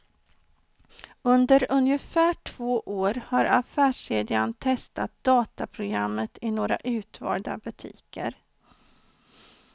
Under ungefär två år har affärskedjan testat dataprogrammet i några utvalda butiker.